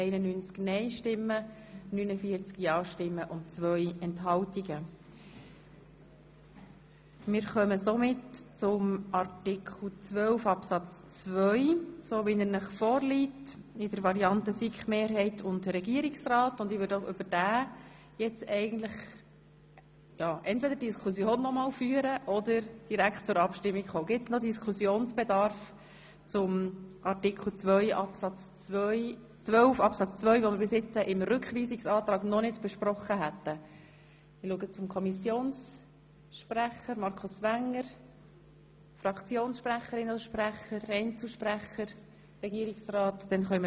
Der Situation von Ausländerinnen und Ausländern, welche die Voraussetzungen nach Absatz 1 Buchstabe b bis d aufgrund einer Behinderung oder andauernden Krankheit oder aus anderen gewichtigen persönlichen Umständen nicht oder nur unter erschwerten Bedingungen erfüllen können, ist in klar begründeten Fällen angemessen Rechnung zu tragen.